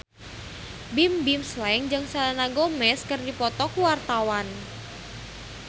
Bimbim Slank jeung Selena Gomez keur dipoto ku wartawan